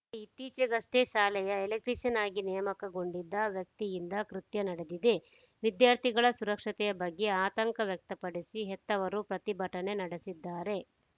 ಇತ್ತೀಚೆಗಷ್ಟೇ ಶಾಲೆಯ ಎಲೆಕ್ಟ್ರೀಶಿಯನ್‌ ಆಗಿ ನೇಮಕಗೊಂಡಿದ್ದ ವ್ಯಕ್ತಿಯಿಂದ ಕೃತ್ಯ ನಡೆದಿದೆ ವಿದ್ಯಾರ್ಥಿಗಳ ಸುರಕ್ಷತೆಯ ಬಗ್ಗೆ ಆತಂಕ ವ್ಯಕ್ತಪಡಿಸಿ ಹೆತ್ತವರು ಪ್ರತಿಭಟನೆ ನಡೆಸಿದ್ದಾರೆ